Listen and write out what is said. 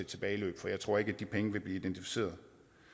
tilbageløb for jeg tror ikke at de penge vil blive identificeret